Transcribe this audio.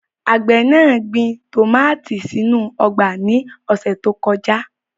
Àgbẹ̀ náà gbin tòmátì sínú ọgbà ní ọ̀sẹ̀ tó kọjá.